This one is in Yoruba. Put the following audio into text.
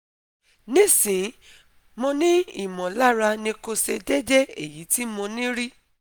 Nisin, mo ni imolara nikose dede eyi ti mo ni ri